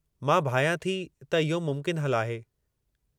मां भायां थी त इहो मुमकिन हलु आहे।